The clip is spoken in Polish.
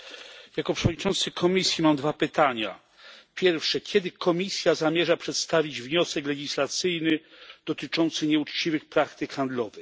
Jako przewodniczący komisji mam dwa pytania. Pierwsze kiedy Komisja zamierza przedstawić wniosek legislacyjny dotyczący nieuczciwych praktyk handlowych?